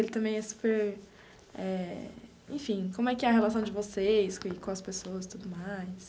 Ele também é super eh... Enfim, como é que é a relação de vocês com as pessoas e tudo mais.